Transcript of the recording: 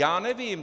Já nevím.